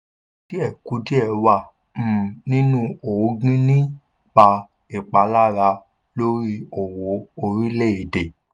kùdìẹ̀kudiẹ wà um nínú ògìn nípa ìpalára lórí owó orílẹ̀ èdè.